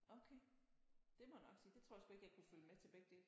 Okay det må jeg nok sige det tror jeg sgu ikke jeg kunne følge med til begge dele